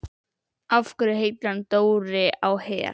Af hverju heitir hann Dóri á Her?